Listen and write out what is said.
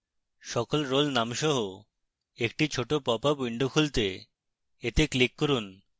সকল role names সহ একটি ছোট popup window খুলতে এতে click করুন